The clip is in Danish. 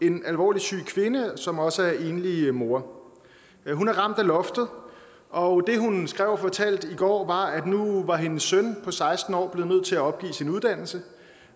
en alvorligt syg kvinde som også er enlig mor hun er ramt af loftet og det hun skrev og fortalte i går var at nu var hendes søn på seksten år blevet nødt til at opgive sin uddannelse